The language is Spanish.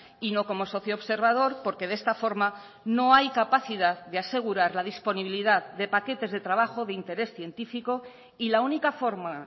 y no como socio observador porque de esta forma no hay capacidad de asegurar la disponibilidad de paquetes de trabajo de interés científico y la única forma